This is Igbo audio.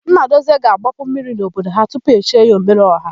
Nnadozie ga-agbapu mmiri n'obodo ha tupu e chie ya, Ọmereọha.